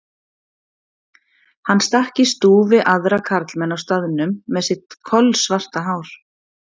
Hann stakk í stúf við aðra karlmenn á staðnum með sitt kolsvarta hár.